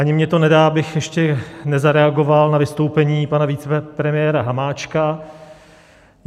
Ani mně to nedá, abych ještě nezareagoval na vystoupení pana vicepremiéra Hamáčka.